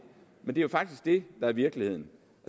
men det er faktisk det der er virkeligheden